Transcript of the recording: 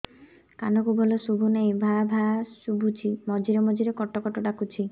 କାନକୁ ଭଲ ଶୁଭୁ ନାହିଁ ଭାଆ ଭାଆ ଶୁଭୁଚି ମଝିରେ ମଝିରେ କଟ କଟ ଡାକୁଚି